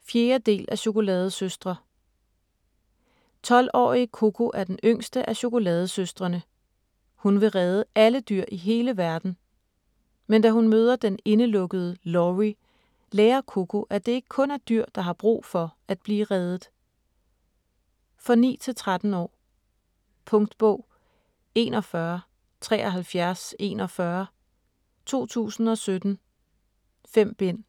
4. del af Chokoladesøstre. 12-årige Coco er den yngste af "Chokoladesøstrene". Hun vil redde alle dyr i hele verden. Men da hun møder den indelukkede Lawrie, lærer Coco, at det ikke kun er dyr, der har brug for at blive reddet. For 9-13 år. Punktbog 417341 2017. 5 bind.